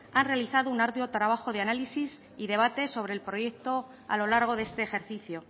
han realizado un arduo trabajo de análisis y debate sobre el proyecto a lo largo de este ejercicio